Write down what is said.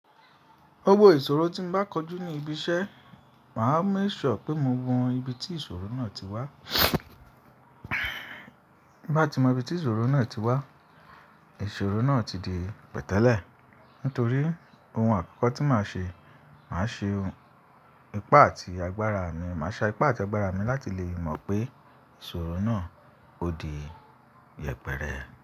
Gbogbo ìṣòro tí mo bá kojú ní ibi iṣẹ́, màá make sure pé mo mọ ibi tí ìṣòro náà ti wá. Bí mo bá ti mọ ibi tí ìṣòro náà ti wá, ìṣòro náà ti di pẹ̀tẹ́lẹ̀. Nítorí ohun àkọ́kọ́ tí màá ṣe, màá ṣen ipá àti agbára mi, màá sa ipá àti agbára mi láti lè mọ̀ pé ìṣòro náà ó di yẹpẹrẹ.